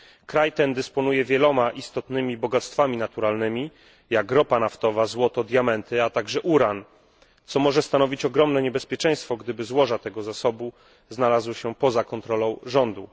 Kraj ten dysponuje wieloma istotnymi bogactwami naturalnymi, jak ropa naftowa, złoto, diamenty, a także uran, co może stanowić ogromne niebezpieczeństwo, gdyby złoża tego zasobu znalazły się poza kontrolą rządu.